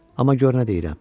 Amma gör nə deyirəm.